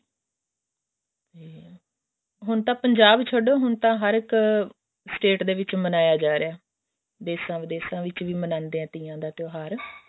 ਹੁਣ ਤਾਂ ਪੰਜਾਬ ਹੁਣ ਤਾਂ ਹਰ ਇੱਕ state ਦੇ ਵਿੱਚ ਮਨਾਇਆ ਜਾ ਰਿਹਾ ਦੇਸ਼ਾਂ ਵਿਦੇਸ਼ਾਂ ਵਿੱਚ ਵੀ ਮਨਾਉਂਦੇ ਨੇ ਤੀਆਂ ਦਾ ਤਿਉਹਾਰ